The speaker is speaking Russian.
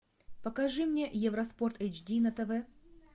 покажи мне евроспорт эйч ди на тв